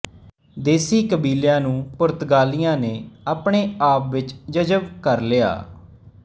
ਦੇਸੀ ਕਬੀਲਿਆਂ ਨੂੰ ਪੁਰਤਗਾਲੀਆਂ ਨੇ ਆਪਣੇ ਆਪ ਵਿੱਚ ਜਜ਼ਬ ਕਰ ਲਿਆ